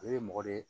O ye mɔgɔ de ye